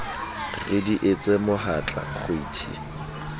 re di etse mohatla kgwiti